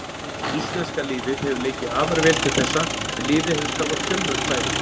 Íslenska liðið hefur leikið afar vel til þessa en liðið hefur skapað fjölmörg færi.